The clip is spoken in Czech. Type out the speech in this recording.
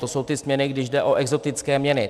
To jsou ty směny, když jde o exotické měny.